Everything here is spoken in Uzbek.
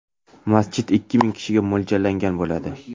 Masjid ikki ming kishiga mo‘ljallangan bo‘ladi.